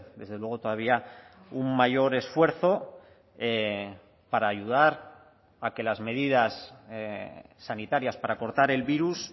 desde luego todavía un mayor esfuerzo para ayudar a que las medidas sanitarias para cortar el virus